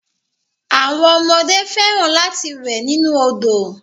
Àwọn ọmọdé fẹ́ràn lati wẹ̀ nínu òdo.